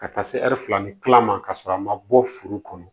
Ka taa se ɛri fila ni kila ma ka sɔrɔ a ma bɔ furu kɔnɔ